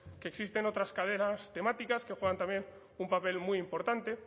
que existen otras cadenas temáticas que juegan también un papel muy importante